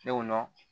Ne y'o dɔn